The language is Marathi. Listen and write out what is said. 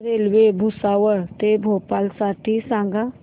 रेल्वे भुसावळ ते भोपाळ साठी सांगा